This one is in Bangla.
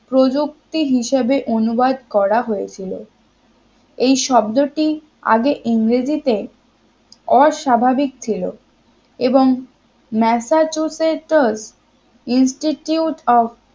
প্রযুক্তি হিসেবে অনুবাদ করা হয়েছিল এই শব্দটি আগে ইংরেজিতে অস্বাভাবিক ছিল এবং masachusator institute of